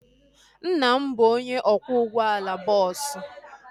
Nna m bụ onye ọkwọ ụgbọala bọọsu